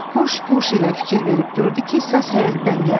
Huş-quş ilə fikir verib gördü ki, səs həyətdən gəlir.